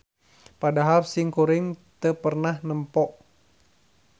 Padahal simkuring teu pernah nempo